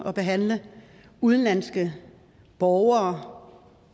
at behandle udenlandske borgere